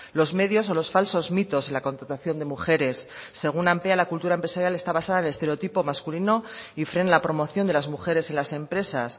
los medios o los falsos mitos en la contratación de mujeres según ampea la cultura empresarial está basada en estereotipo masculino y frena la promoción de las mujeres en las empresas